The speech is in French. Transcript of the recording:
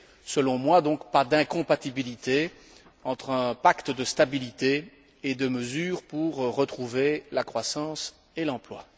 Selon moi donc, pas d'incompatibilité entre un pacte de stabilité et des mesures pour retrouver la croissance et l'emploi.